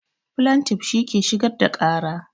Flantif shi ke shigar da ƙara